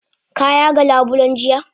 Ka yaga labulen jiya?